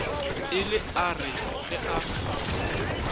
ile a re ge a